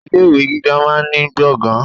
Ilé ìwé gíga máa ní gbọ̀ngàn.